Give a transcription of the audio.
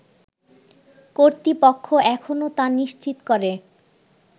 কর্তৃপক্ষ এখনও তা নিশ্চিত করে